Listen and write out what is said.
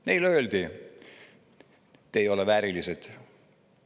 Neile öeldi: "Te ei ole väärilised.